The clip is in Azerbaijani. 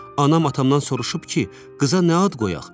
Anam atamdan soruşub ki, qıza nə ad qoyaq?